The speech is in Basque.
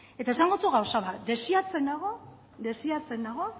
eta esango dizut gauza bat desiratzen nago